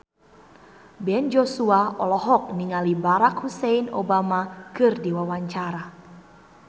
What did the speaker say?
Ben Joshua olohok ningali Barack Hussein Obama keur diwawancara